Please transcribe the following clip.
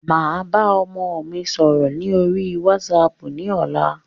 Màá bá ọmọ mi sọ̀rọ̀ lórí wásaàpù ní ọ̀la.